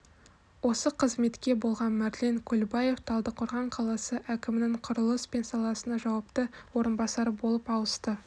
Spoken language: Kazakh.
осы қызметте болған марлен көлбаев талдықорған қаласы әкімінің құрылыс пен саласына жауапты орынбасары болып ауысты